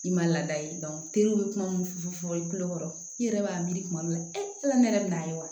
I ma laada ye be kuma mun fɔ fɔ i kulokɔrɔ i yɛrɛ b'a miiri kuma dɔw la ne yɛrɛ be n'a ye wa